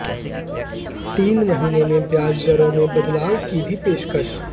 तीन महीने में ब्याज दरों में बदलाव की भी पेशकश